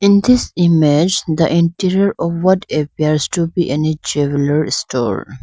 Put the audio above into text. in this image the interior of what appears to be any jeweller store.